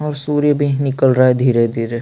और सूर्य भी निकल रहा हैं धीरे-धीरे--